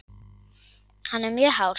Hann er mjög hár.